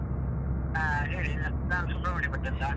ಹಾ ಹೇಳಿ, ನಾ ನಾನು ಸುಬ್ರಹ್ಮಣ್ಯ ಭಟ್ ಅಂತ.